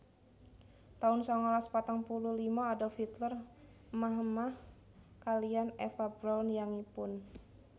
taun sangalas patang puluh lima Adolf Hitler émah émah kaliyan Eva Braun yangipun